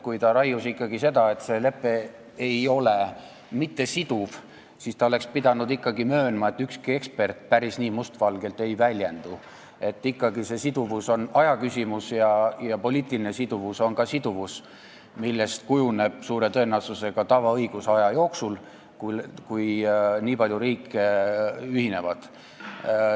Kui ta raius seda, et see lepe ei ole siduv, siis ta oleks pidanud ikkagi möönma, et ükski ekspert päris nii mustvalgelt ei ole väljendunud, et see siduvus on ikkagi ajaküsimus ja poliitiline siduvus on ka siduvus, millest kujuneb suure tõenäosusega aja jooksul tavaõigus, kui nii paljud riigid ühinevad.